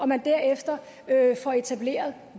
man derefter får etableret